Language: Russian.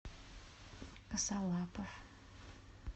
косолапов